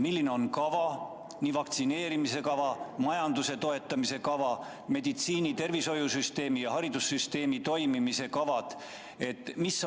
Milline on vaktsineerimise kava, majanduse toetamise kava, tervishoiusüsteemi ja haridussüsteemi toimimise kava?